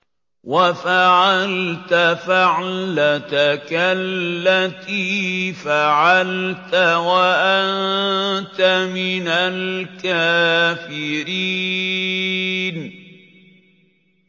وَفَعَلْتَ فَعْلَتَكَ الَّتِي فَعَلْتَ وَأَنتَ مِنَ الْكَافِرِينَ